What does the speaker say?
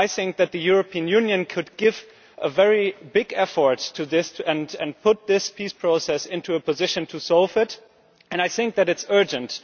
I think that the European Union could give a very big effort to this and put this peace process into a position to solve it, and I think that it is urgent.